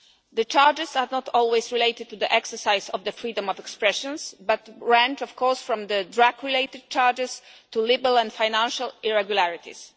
The charges are not always related to the exercise of freedom of expression, but range, of course, from drug related charges to liberal and financial irregularities.